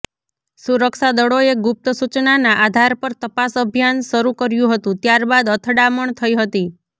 સુરક્ષાદળોએ ગુપ્ત સૂચનાના આધાર પર તપાસ અભિયાન શરૂ કર્યું હતું ત્યારબાદ અથડામણ થઈ હતી